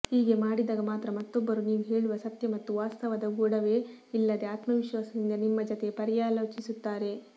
ಹೀಗೆ ಮಾಡಿದಾಗ ಮಾತ್ರ ಮತ್ತೊಬ್ಬರು ನೀವು ಹೇಳುವ ಸತ್ಯ ಮತ್ತು ವಾಸ್ತವದ ಗೊಡವೆ ಇಲ್ಲದೆ ಆತ್ಮವಿಶ್ವಾಸದಿಂದ ನಿಮ್ಮ ಜತೆ ಪರ್ಯಾಲೋಚಿಸುತ್ತಾರೆ